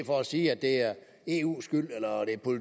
for at sige at det er eus skyld eller